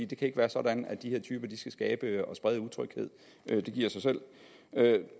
det kan ikke være sådan at de her typer skal skabe og sprede utryghed det giver sig selv